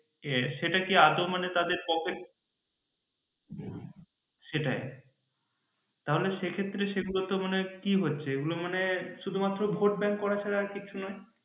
যে সেটা কি আদৌ মানে তাদের pocket সেটাই তাহলে সেক্ষেত্রে সে গুলোতে মনে হয় কি হচ্ছে মানে কি হচ্ছে এগুলো মানে শুধু মাত্র ভোট ব্যাঙ্ক করা ছাড়া আর কিছু নেই